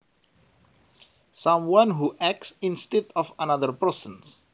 Someone who acts instead of another person